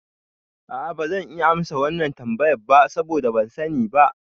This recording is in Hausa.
A'a bazan iya amsa wannan tambayar ba saboda ban sani ba